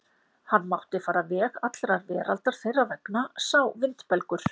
Hann mátti fara veg allrar veraldar þeirra vegna sá vindbelgur.